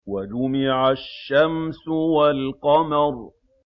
وَجُمِعَ الشَّمْسُ وَالْقَمَرُ